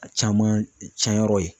A caman cɛnyɔrɔ ye.